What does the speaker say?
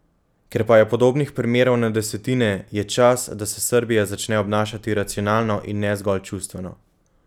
Ker pa je podobnih primerov na desetine, je čas, da se Srbija začne obnašati racionalno in ne zgolj čustveno.